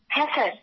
হ্যাঁ স্যার